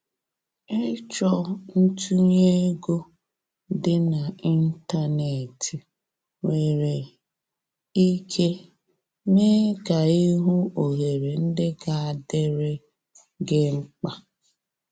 Ịchọ ntunye ego dị na ịntanetị nwere ike mee ka i hụ ohere ndị ga adịrị gi mkpa.